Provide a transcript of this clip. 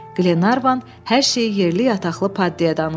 Qlenarvan hər şeyi yerli yataqlı Paddiyə danışdı.